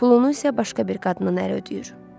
Pulunu isə başqa bir qadının əri ödəyir.